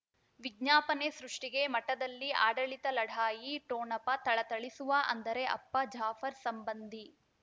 ವಿಜ್ಞಾಪನೆ ಸೃಷ್ಟಿಗೆ ಮಠದಲ್ಲಿ ಆಡಳಿತ ಲಢಾಯಿ ಠೊಣಪ ಥಳಥಳಿಸುವ ಅಂದರೆ ಅಪ್ಪ ಜಾಫರ್ ಸಂಬಂಧಿ